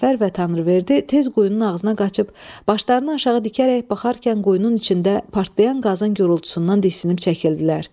Səfər və Tanrıverdi tez quyunun ağzına qaçıb, başlarını aşağı dikərək baxarkən quyunun içində partlayan qazın gurultusundan dəhşətinə çəkildilər.